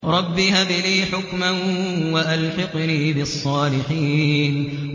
رَبِّ هَبْ لِي حُكْمًا وَأَلْحِقْنِي بِالصَّالِحِينَ